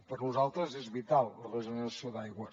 per a nosaltres és vital la regeneració d’aigua